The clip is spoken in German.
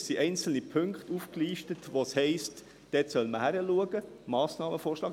Es sind einzelne Punkte aufgelistet, in welchen es heisst, dort solle man hinschauen, Massnahmen vorschlagen.